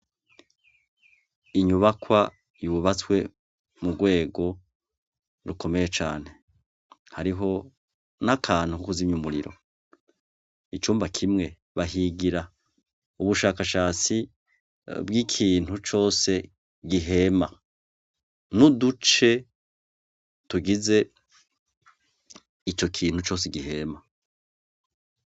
Inyubakwa yubatswe mu rwego rukomeye cane, hariho n'akantu ko kuzimya umuriro, icumba kimwe bahigira ubushakashatsi bw'ikintu cose gihema, n'uduce tugize ico kintu cose gihema.